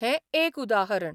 हें एक उदाहरण.